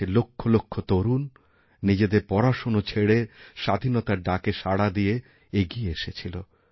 দেশের লক্ষলক্ষ তরুণ নিজেদের পড়াশোনা ছেড়ে স্বাধীনতার ডাকে সাড়া দিয়ে এগিয়ে এসেছিল